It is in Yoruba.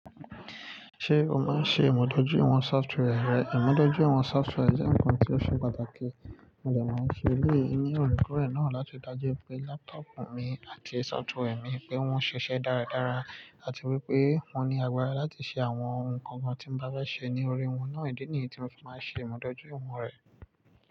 Ṣé o máa ń ṣe ìmọ̀ dójúìwọ̀n software rẹ? Ìmọ̀ dójúìwọ̀n software jẹ́ nǹkan tí ó ṣe pàtàkì. Mo de máa ń ṣe eleyi ni orekórè náà láti dájú pé laptop mi àti software mi pé wọ́n ṣiṣẹ́ dáradára àti wípé mo ní agbára láti ṣe àwọn ohun kan kan tí mo bá fẹ́ ṣe ní orí wọn náà. Ídi ni yi tí mo fi máa ń ṣe ìmọ̀ dójúìwọ̀n rẹ̀.